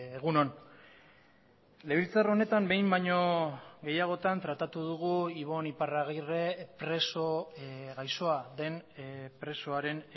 egun on legebiltzar honetan behin baino gehiagotan tratatu dugu ibon iparragirre preso gaixoa den presoaren